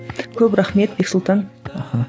көп рахмет бексұлтан аха